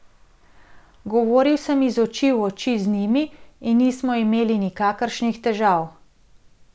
Govoril sem iz oči v oči z njimi in nismo imeli nikakršnih težav.